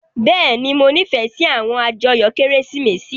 Bẹ́ẹ̀ni, Mo nifẹ si awọn ajoyo Keresimesi.